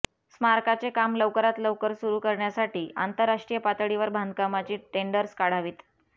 स्मारकाचे काम लवकरात लवकर सुरू करण्यासाठी आंतरराष्ट्रीय पातळीवर बांधकामाची टेंडर्स काढावीत